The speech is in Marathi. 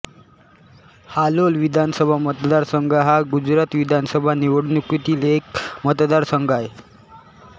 हालोल विधानसभा मतदारसंघ हा गुजरात विधानसभा निवडणुकीतील एक मतदारसंघ आहे